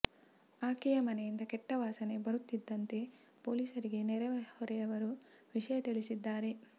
ಆಕೆಯ ಮನೆಯಿಂದ ಕೆಟ್ಟ ವಾಸನೆ ಬರುತ್ತಿದ್ದಂತೆ ಪೊಲೀಸರಿಗೆ ನೆರೆಹೊರೆಯವರು ವಿಷಯ ತಿಳಿಸಿದ್ದಾರೆ